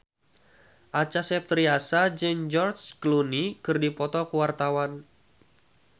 Acha Septriasa jeung George Clooney keur dipoto ku wartawan